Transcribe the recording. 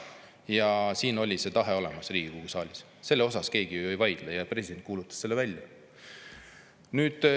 Ja see tahe oli olemas Riigikogu saalis, selle üle keegi ju ei vaidle, ja president kuulutas selle välja.